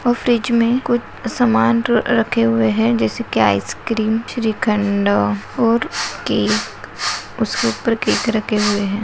और फ्रिज मे कुछ सामान रखे हुए है जैसे की आइसक्रीम श्रीखंडा और केक उसके ऊपर केक रखे हुए है।